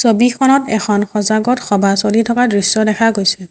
ছবিখনত এখন সজাগত সভা চলি থকা দেখা গৈছে।